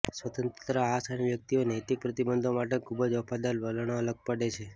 સ્વતંત્રતા આ સાઇન વ્યક્તિઓ નૈતિક પ્રતિબંધો માટે ખૂબ જ વફાદાર વલણ અલગ પાડે છે